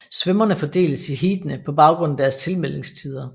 Svømmerne fordeles i heatene på baggrund af deres tilmeldingstider